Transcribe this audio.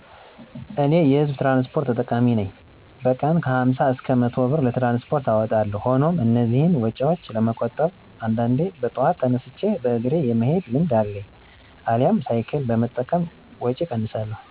" እኔ የ ህዝብ ትራንስፖርት ተጠቃሚ ነኝ በቀን ከ ሀምሳ እስከ መቶ ብር ለትራንስፖርት አወጣለሁ ሆኖም እነዚህን ወጪዎች ለመቆጠብ አንዳንዴ በጠዋት ተነስቼ በእግሬ የመሄድ ልምድ አለኝ አልያም ሳይክል በመጠቀም ወጪ እቀንሳለሁ" ።